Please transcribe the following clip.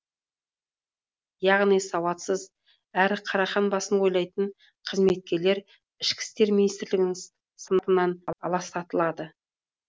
яғни сауатсыз әрі қарақан басын ойлайтын қызметкерлер ішкі істер министрлігінің сыныбынан аластатылады